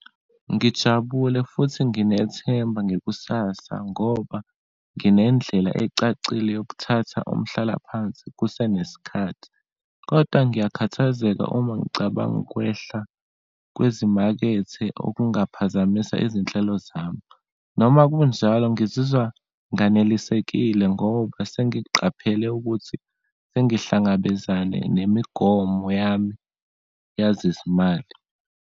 Ngijabule futhi nginethemba ngekusasa ngoba nginendlela ecacile yokuthatha umhlalaphansi kusenesikhathi. Kodwa ngiyakhathazeka uma ngicabanga ukwehla kwezimakethe, okungaphazamisa izinhlelo zami. Noma kunjalo ngizizwa nganelisekile ngoba sengiqaphela ukuthi sengihlangabezane nemigomo yami yazezimali.